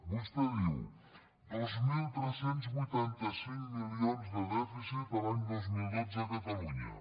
vostè diu dos mil tres cents i vuitanta cinc milions de dèficit l’any dos mil dotze a catalunya